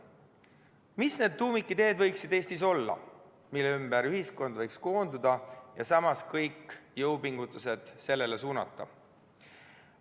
Mis võiksid Eestis olla need tuumikideed, mille ümber ühiskond võiks koonduda ja kõik jõupingutused sellele suunata?